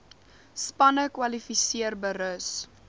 spanne kwalifiseer berus